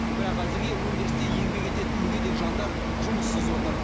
бірақ әзірге өндірісте еңбек ететін мүгедек жандар жұмыссыз отыр